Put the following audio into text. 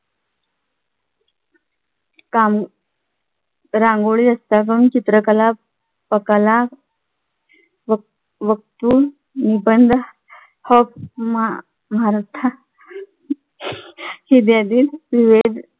काम रांगोळी जास्त करून चित्रकला पकला वक्तृत्व निबंध भारता इत्यादी विविध